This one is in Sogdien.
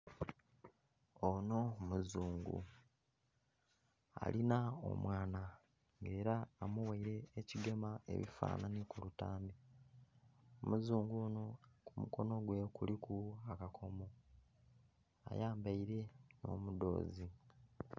Onho muzungu alinha omwana era amughaire ekigema ebifanhanhi ku lutambi, omuzungu onho ku mukonho gwe kuliku akakomo ayambaire nho mudhozi.